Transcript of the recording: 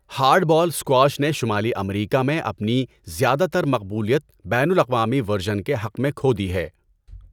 Hard ball squash نے شمالی امریکہ میں اپنی زیادہ تر مقبولیت بین الاقوامی ورژن کے حق میں کھو دی ہے۔